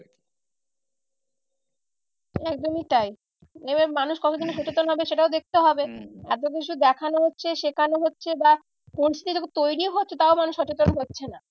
একদমই তাই এবার মানুষ কতদিনে সচেতন হবে সেটাও দেখতে হবে। এত কিছু দেখানো হচ্ছে শেখানো হচ্ছে বা পরিস্থিতি তৈরীও হচ্ছে তাও মানুষ সচেতন হচ্ছে না।